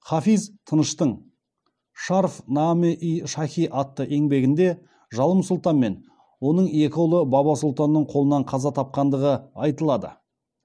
хафиз таныштың шаарф наме ий шахи атты еңбегінде жалым сұлтан мен оның екі ұлы баба сұлтанның қолынан қаза тапқандығы айтылады